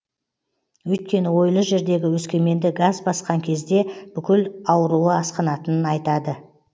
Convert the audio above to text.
өйткені ойлы жердегі өскеменді газ басқан кезде бүкіл ауруы асқынатынын айтады